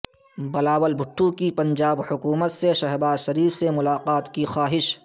بلاول بھٹو کی پنجاب حکومت سے شہبازشریف سے ملاقات کی خواہش